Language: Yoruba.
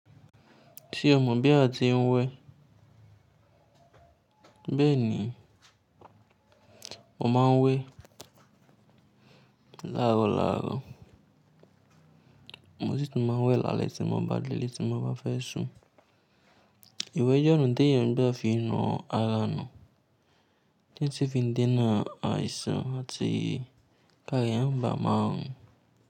Ṣé o mọ̀ bí a ti ń wẹ? Bẹ́ẹ̀ ni, mo máa ń wẹ láaro láaro. Mo sì tún máa ń wẹ lále tí mo bá délé tí mo bá fẹ́ sùn. Ìwẹ̀ jẹ́ ona teeyan n fi ń na ara ńu. Tí si fi ń dena àìsàn àti ki àra eeyan ma bà maa run.